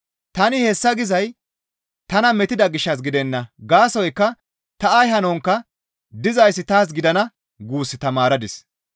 Tani hessa gizay tana metida gishshas gidenna; gaasoykka ta ay hankkoka, «Dizayssi taas gidana» guus tamaaradis.